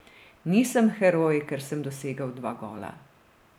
Nisem heroj, ker sem dosegel dva gola.